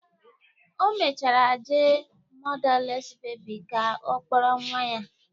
O mechara jee mọdales bebis ka ọ kpọrọ nwa ya